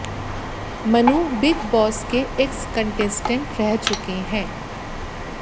Manu Bigg Boss के ex contestant रह चुके हैं